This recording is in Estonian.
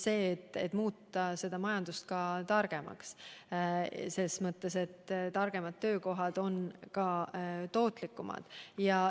Selleks tuleb muuta majandus targemaks, sest targemad töökohad on ka tootlikumad.